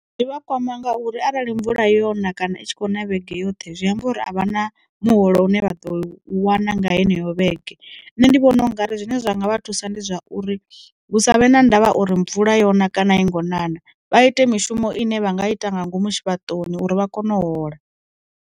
Zwivha kwama ngauri arali mvula yona kana i tshi kho na vhege yoṱhe, zwi amba uri a vha na muholo une vha ḓo wana nga heneyo vhege. Nṋe ndi vhona u ngari zwine zwanga vha thusa ndi zwauri, hu sa vhe na ndavha uri mvula yone kana a yi ngo ṋa ṋa, vha ite mishumo ine vha nga ita nga ngomu tshivha toni uri vha kone u hola.